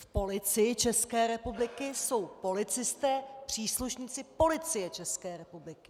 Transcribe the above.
V Policii České republiky jsou policisté, příslušníci Policie České republiky.